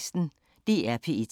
DR P1